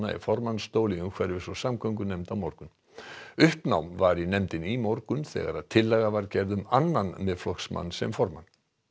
í formannsstól í umhverfis og samgöngunefnd á morgun uppnám var í nefndinni í morgun þegar tillaga var gerð um annan Miðflokksmann sem formann